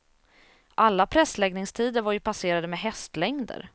Alla pressläggningstider var ju passerade med hästlängder.